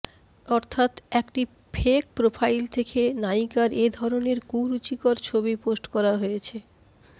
অর্থাৎ একটি fake profile থেকে নায়িকার এ ধরণের কুরুচিকর ছবি পোস্ট করা হয়েছে